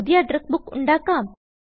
പുതിയ address book ഉണ്ടാക്കാം